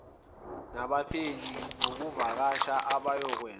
nabaphenyi ngokuvakasha abayokwenza